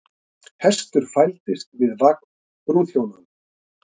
Hestur fældist við vagn brúðhjónanna